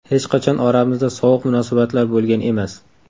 Hech qachon oramizda sovuq munosabatlar bo‘lgan emas.